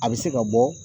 A bɛ se ka bɔ